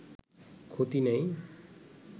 ক্ষতি নেই